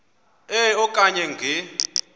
e okanye nge